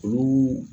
Olu